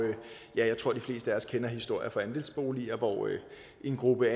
jeg tror de fleste af os kender historier fra andelsboliger hvor en gruppe